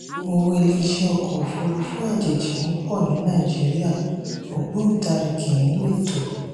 owó iléeṣẹ́ ọkọ̀ òfurufú àjèjì ń pọ̀ ní nàìjíríà ògbóntarìgì nínú ètò.